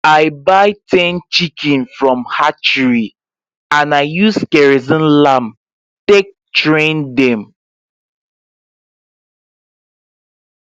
i buy ten chiken from hatchery and i use kerosene lamp take train dem